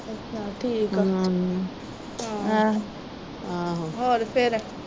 ਅੱਛਾ, ਠੀਕ ਆ।